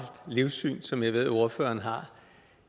livssyn som jeg ved ordføreren har